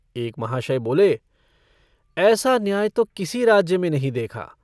एक महाशय बोले - ऐसा न्याय तो किसी राज्य में नहीं देखा।